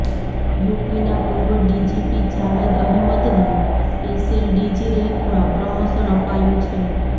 યુપીના પૂર્વ ડીજીપી જાવેદ અહેમદને special DG રેન્કમાં પ્રમોશન અપાયું છે